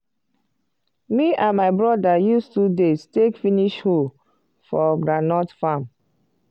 me and my broda use 2 days take finish hoe for groundnut farm